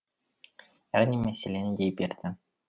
яғни мәселен дей берді